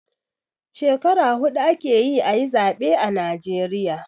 Skekara huɗu ake yi a yi zaɓe a najeriya.